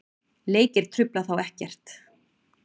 Leikir trufla þá ekkert.